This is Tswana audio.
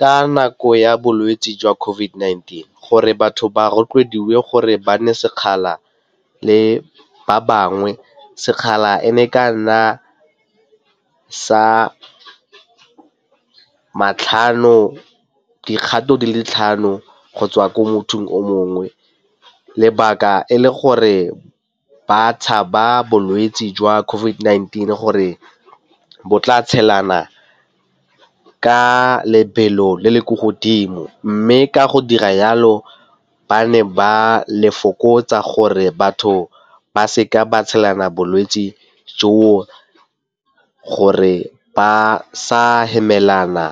Ka nako ya bolwetse jwa COVID-19 gore batho ba rotloediwe gore ba nne sekgala le ba bangwe, sekgala e ne ka nna sa dikgato di le tlhano go tswa ko mothong o mongwe. Lebaka e le gore ba tshaba bolwetsi jwa COVID-19 gore bo tla tshelana ka lebelo le le ko godimo mme ka go dira yalo ba ne ba le fokotsa gore batho ba seka ba tshelana bolwetse jo, gore ba sa hemela bana